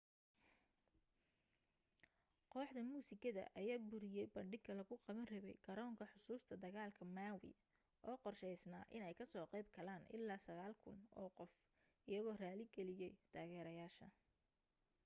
koox muusikada ayaa buriyay bandhigga lagu qaban rabay garoonka xusuusta dagaalka maui oo qorsheysnaa inay kasoo qayb galaan ilaa 9,000 oo qof iyagoo raali galiyay taageereyaasha